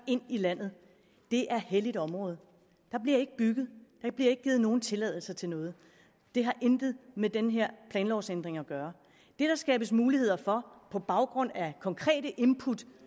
ind i landet det er helligt område og bliver ikke givet nogen tilladelser til noget det har intet med den her planlovsændring at gøre det der skabes muligheder for på baggrund af konkrete input